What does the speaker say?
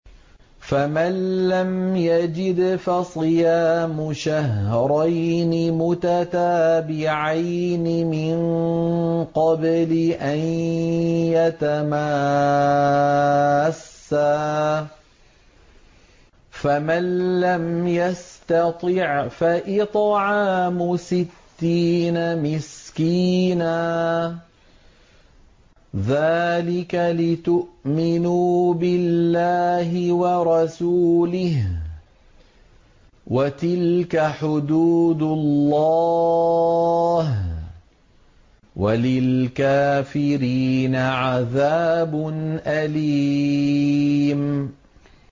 فَمَن لَّمْ يَجِدْ فَصِيَامُ شَهْرَيْنِ مُتَتَابِعَيْنِ مِن قَبْلِ أَن يَتَمَاسَّا ۖ فَمَن لَّمْ يَسْتَطِعْ فَإِطْعَامُ سِتِّينَ مِسْكِينًا ۚ ذَٰلِكَ لِتُؤْمِنُوا بِاللَّهِ وَرَسُولِهِ ۚ وَتِلْكَ حُدُودُ اللَّهِ ۗ وَلِلْكَافِرِينَ عَذَابٌ أَلِيمٌ